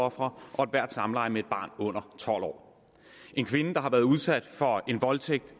ofre og ethvert samleje med et barn under tolv år en kvinde der har været udsat for en voldtægt